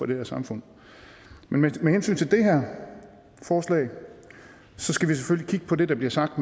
det her samfund med hensyn til det her forslag skal vi selvfølgelig kigge på det der bliver sagt